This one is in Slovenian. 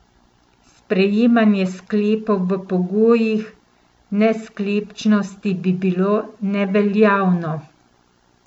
Sprejemanje sklepov v pogojih nesklepčnosti bi bilo neveljavno.